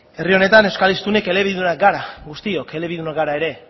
herri honetan euskal hiztunek elebidunak gara guztiok elebidunak gara eta